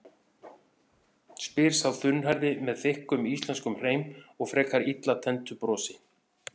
spyr sá þunnhærði með þykkum íslenskum hreim og frekar illa tenntu brosi.